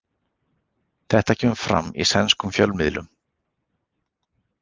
Þetta kemur fram í sænskum fjölmiðlum